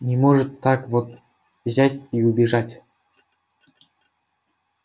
не может так вот взять и убежать